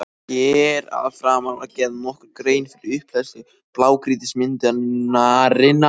Hér að framan var gerð nokkur grein fyrir upphleðslu blágrýtismyndunarinnar.